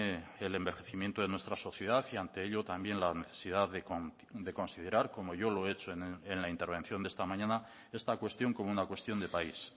el envejecimiento de nuestra sociedad y ante ello también la necesidad de considerar como yo lo he hecho en la intervención de esta mañana esta cuestión como una cuestión de país